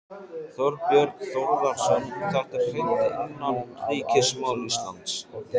Þorbjörn Þórðarson: Þetta er hreint innanríkismál Íslands?